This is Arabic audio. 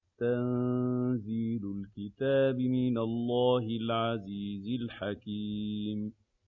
تَنزِيلُ الْكِتَابِ مِنَ اللَّهِ الْعَزِيزِ الْحَكِيمِ